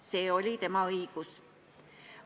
See oli tema õigus.